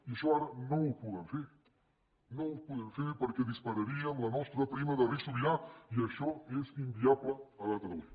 i això ara no ho podem fer no ho podem fer perquè dispararíem la nostra prima de risc sobirà i això és inviable a data d’avui